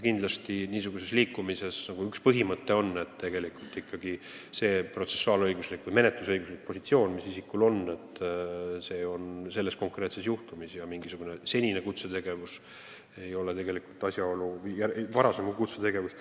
Kindlasti on üks niisuguse liikumise põhimõte see, et protsessuaalõiguslik või menetlusõiguslik positsioon, mis isikul konkreetse juhtumi menetlemisel on, ei tohi olla mõjutatud tema varasemast kutsetegevusest.